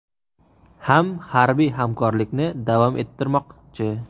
ham harbiy hamkorlikni davom ettirmoqchi.